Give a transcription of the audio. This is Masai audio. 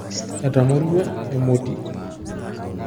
Etamorua emoti.